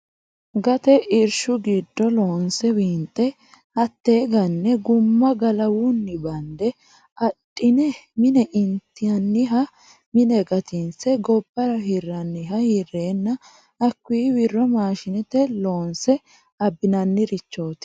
Gate irshu giddo loonse winxe hate gane guma galawuwinni bande adhine mine intaniha mine gatinse gobbara hirani hirenna hakkuyinni wiro maashinete loonse abbinannirichoti.